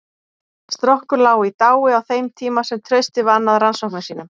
Strokkur lá í dái á þeim tíma sem Trausti vann að rannsóknum sínum.